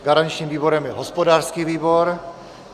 Garančním výborem je hospodářský výbor.